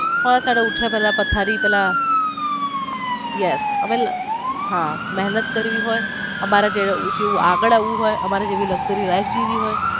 હા સવારે ઉઠ્યા પેલા પથારી પેલા yes હા મેહનત કરવી હોઈ અમારી જેમ ઉંચુ એવું આગળ આવવું હોઈ અમારી જેમ luxury life જીવવી હોય.